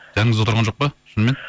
жаныңызда отырған жоқ па шынымен